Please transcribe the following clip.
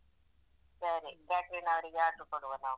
ಸರಿ catering ಅವರಿಗೆ order ಕೊಡುವ ನಾವು.